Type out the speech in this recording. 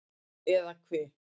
Eða hve